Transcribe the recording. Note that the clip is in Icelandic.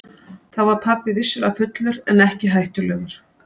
Þá var pabbi vissulega fullur en ekki hættulegur.